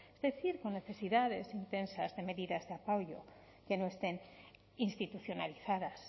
es decir con necesidades intensas de medidas de apoyo que no estén institucionalizadas